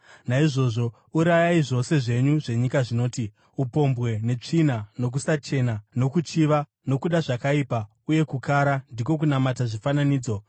Naizvozvo, urayai zvose zvenyu zvenyika zvinoti: upombwe, netsvina, nokusachena, nokuchiva, nokuda zvakaipa uye kukara, ndiko kunamata zvifananidzo.